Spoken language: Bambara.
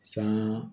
San